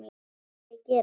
Vil ég gera það?